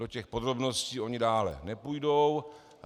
Do těch podrobností oni dále nepůjdou.